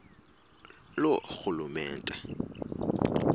loorhulumente